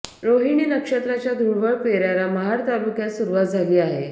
रोहीणी नक्षत्राच्या धुळवड पेऱ्याला महाड तालुक्यात सुरुवात झाली आहे